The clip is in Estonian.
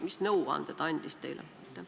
Mis nõuande ta andis teile?